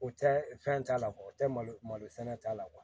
O tɛ fɛn t'a la o tɛ malo malo sɛnɛ t'a la